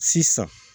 Sisan